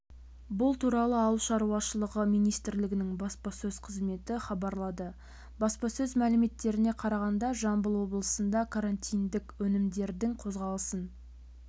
бұл туралы ауыл шаруашылығы министрлігінің баспасөз қызметі хабарлады баспасөз мәліметтеріне қарағанда жамбыл облысында карантиндік өнімдердің қозғалысын